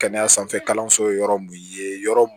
Kɛnɛya sanfɛ kalanso yɔrɔ mun ye yɔrɔ mun